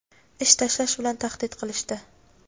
ish tashlash bilan tahdid qilishdi.